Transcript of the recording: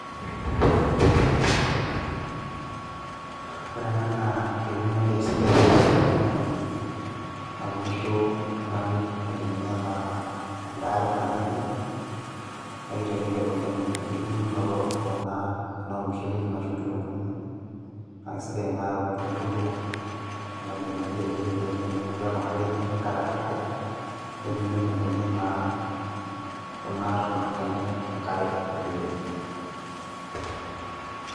ore ena naa eunore sidai naunisho oltungani aitumia naa edare natii ede. naa kitelelek oleng enkitubulunoto ekuna, tenaa ormushel ituuno ashu inkitunkuuni. naa kisidai inare amu kitubulu kuna kitunkuuni telelki oleng amu keeku naa kejing' enkare atua enkop, netum inkitunkuuni naa kuna tona enye enkare telelki.